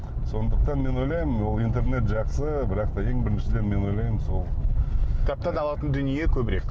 сондықтан мен ойлаймын ол интернет жақсы бірақ та ең біріншіден мен ойлаймын сол кітаптан алатын дүние көбірек